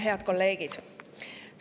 Head kolleegid!